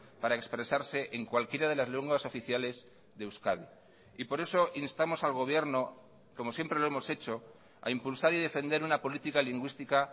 para expresarse en cualquiera de las lenguas oficiales de euskadi y por eso instamos al gobierno como siempre lo hemos hecho a impulsar y defender una política lingüística